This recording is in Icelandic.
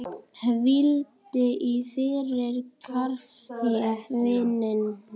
Hvíldu í friði, kæri vinur.